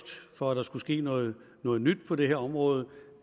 for at der skulle ske noget noget nyt på det her område